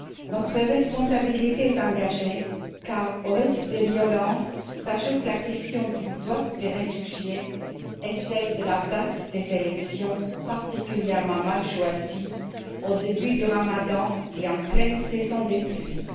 Notre responsabilité est engagée, car au risque des violences s'ajoute la question du vote des réfugiés et celle de la date des élections, particulièrement mal choisie, au début de ramadan et en pleine saison des pluies.